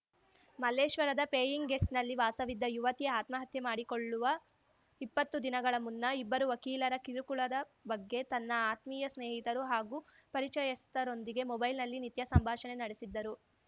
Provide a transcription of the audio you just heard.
ಮಲ್ಲೇಶ್ವರದ paying ಗೆಸ್ಟ್‌ನಲ್ಲಿ ವಾಸವಿದ್ದ ಯುವತಿ ಆತ್ಮಹತ್ಯೆ ಮಾಡಿಕೊಳ್ಳುವ ಇಪ್ಪತ್ತು ದಿನಗಳ ಮುನ್ನ ಇಬ್ಬರು ವಕೀಲರ ಕಿರುಕುಳದ ಬಗ್ಗೆ ತನ್ನ ಆತ್ಮೀಯ ಸ್ನೇಹಿತರು ಹಾಗೂ ಪರಿಚಯಸ್ಥರೊಂದಿಗೆ ಮೊಬೈಲ್‌ನಲ್ಲಿ ನಿತ್ಯ ಸಂಭಾಷಣೆ ನಡೆಸಿದ್ದರು